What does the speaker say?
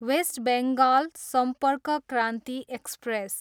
West Bengal Sampark Kranti express